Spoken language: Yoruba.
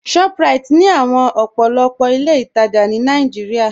ShopRite ni òpó̩lópó̩ àwọn ilẹ̀-itaja ní Nàìjíríà.